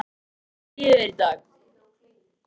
Björn Þorláksson: Hvernig líður þér í dag?